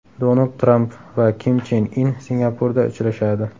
Donald Tramp va Kim Chen In Singapurda uchrashadi.